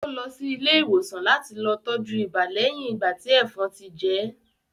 Ó lọ sí ilé ìwòsàn láti lọ tọ́jú ibà lẹ́yin ìgbà tí ẹ̀fọn ti jẹ́ẹ̀